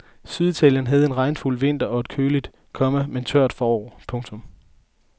Syditalien havde en regnfuld vinter og et køligt, komma men tørt forår. punktum